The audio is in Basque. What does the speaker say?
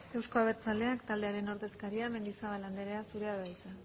euzko abertzaleak taldearen ordezkaria mendizabal andrea zurea da hitza